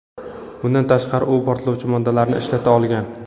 Bundan tashqari, u portlovchi moddalarni ishlata olgan.